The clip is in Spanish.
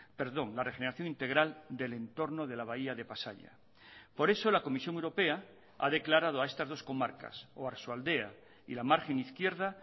perdón la regeneración integral del entorno de la bahía de pasaia por eso la comisión europea ha declarado a estas dos comarcas oarsoaldea y la margen izquierda